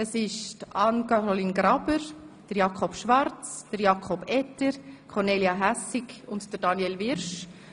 Es handelt sich dabei um Anne-Caroline Graber, Jakob Schwarz, Jakob Etter, Kornelia Hässig und Daniel Wyrsch.